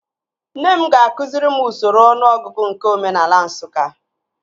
Nne m ga-akụziri m usoro ọnụọgụgụ nke omenaala Nsụka